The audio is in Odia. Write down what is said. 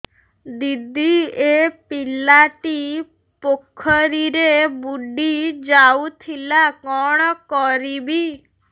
ଦିଦି ଏ ପିଲାଟି ପୋଖରୀରେ ବୁଡ଼ି ଯାଉଥିଲା କଣ କରିବି